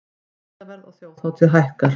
Miðaverð á þjóðhátíð hækkar